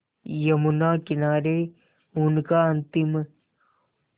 यमुना किनारे उनका अंतिम